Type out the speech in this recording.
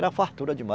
Era fartura dema